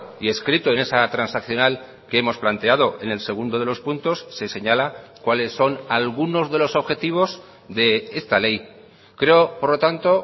y escrito en esa transaccional que hemos planteado en el segundo de los puntos se señala cuales son algunos de los objetivos de esta ley creo por lo tanto